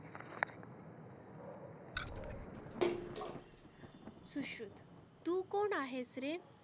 सुश्रुत तु कोण आहेस रे?